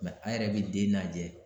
a yɛrɛ bɛ den lajɛ